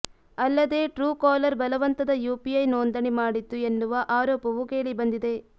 ಅಲ್ಲದೆ ಟ್ರೂಕಾಲರ್ ಬಲವಂತದ ಯುಪಿಐ ನೋಂದಣಿ ಮಾಡಿತ್ತು ಎನ್ನುವ ಆರೋಪವೂ ಕೇಳಿಬಂದಿದೆ